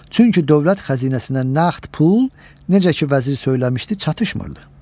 Çünki dövlət xəzinəsinə nəqd pul necə ki vəzir söyləmişdi, çatışmırdı.